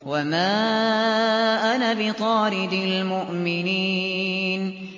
وَمَا أَنَا بِطَارِدِ الْمُؤْمِنِينَ